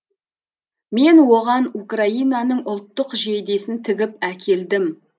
мен оған украинаның ұлттық жейдесін тігіп әкелдім